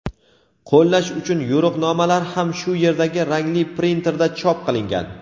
qo‘llash uchun yo‘riqnomalar ham shu yerdagi rangli printerda chop qilingan.